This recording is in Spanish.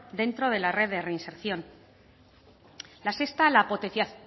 dentro de la red de reinserción la sexta la